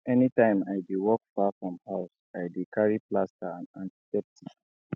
anytime i dey work far from house i dey carry plaster and antiseptic